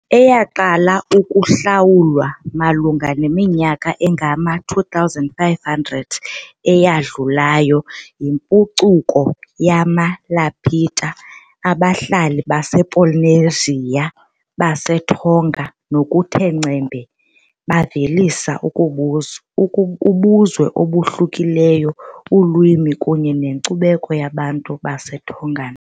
Eyaqala ukuhlalwa malunga neminyaka engama-2,500 eyadlulayo yimpucuko yamaLapita, abahlali basePolynesia baseTonga ngokuthe ngcembe bavelisa ubuzwe obahlukileyo, ulwimi kunye nenkcubeko yabantu baseTongan .